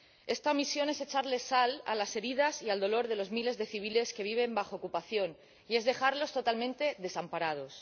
Esta misión es echarle sal a las heridas y al dolor de los miles de civiles que viven bajo ocupación y es dejarlos totalmente desamparados.